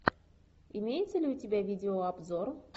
имеется ли у тебя видеообзор